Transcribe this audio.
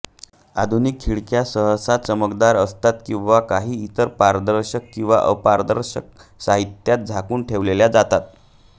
आधुनिक खिडक्या सहसा चमकदार असतात किंवा काही इतर पारदर्शक किंवा अर्धपारदर्शक साहित्यात झाकून ठेवल्या जातात